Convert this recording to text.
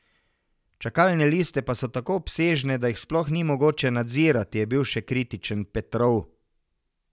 Čakalne liste pa so tako obsežne, da jih sploh ni mogoče nadzirati, je bil še kritičen Petrov.